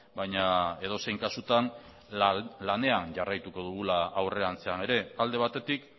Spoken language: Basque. baina edozein kasutan lanean jarraituko dugula aurrerantzean ere alde batetik